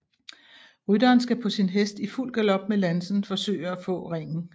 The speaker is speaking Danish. Rytteren skal på sin hest i fuld galop med lansen forsøge at få ringen